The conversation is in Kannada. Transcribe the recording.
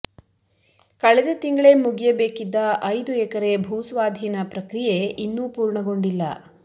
ಕಳೆದ ತಿಂಗಳೇ ಮುಗಿಯಬೇಕಿದ್ದ ಐದು ಎಕರೆ ಭೂಸ್ವಾಧೀನ ಪ್ರಕ್ರಿಯೆ ಇನ್ನೂ ಪೂರ್ಣಗೊಂಡಿಲ್ಲ